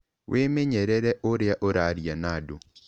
Wĩmenyerere ũrĩa ũraria na andũ.